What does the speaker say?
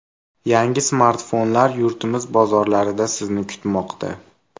Yangi smartfonlar yurtimiz bozorlarida Sizni kutmoqda.